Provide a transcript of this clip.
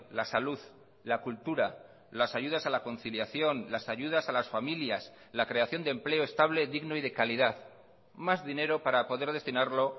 la salud la cultura las ayudas a la conciliación las ayudas a las familias la creación de empleo estable digno y de calidad más dinero para poder destinarlo